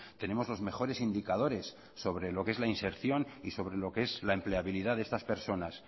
tenemos los mejores indicadores sobre lo qué es la inserción y sobre lo qué es la empleabilidad de estas personas